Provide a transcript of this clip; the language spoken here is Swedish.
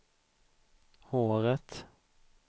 håret